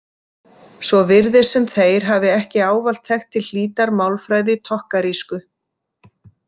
Svo virðist sem þeir hafi ekki ávallt þekkt til hlítar málfræði tokkarísku.